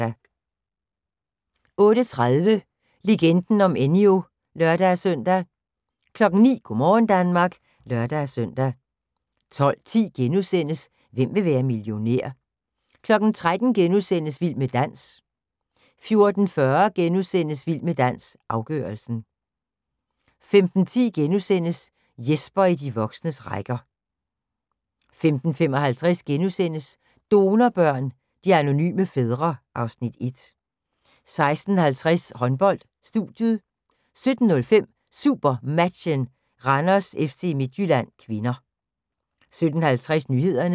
08:30: Legenden om Enyo (lør-søn) 09:00: Go' morgen Danmark (lør-søn) 12:10: Hvem vil være millionær? * 13:00: Vild med dans * 14:40: Vild med dans – afgørelsen * 15:10: Jesper i de voksnes rækker * 15:55: Donorbørn – de anonyme fædre (Afs. 1)* 16:50: Håndbold: Studiet 17:05: SuperMatchen: Randers-FC Midtjylland (k) 17:50: Nyhederne